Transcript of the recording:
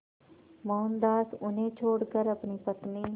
मोहनदास उन्हें छोड़कर अपनी पत्नी